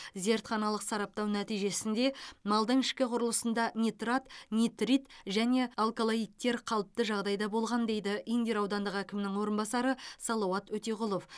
зертханалық сараптау нәтижесінде малдың ішкі құрылысында нитрат нитрит және алколоидттер қалыпты жағдайда болған дейді индер аудандық әкімінің орынбасары салауат өтеғұлов